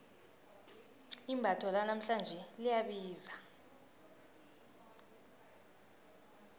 imbatho lanamhlanje liyabiza